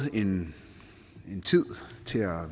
en tid til at